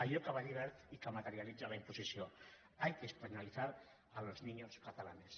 allò que va dir wert i que materialitza la imposició hay que españolizar a los niños catalanes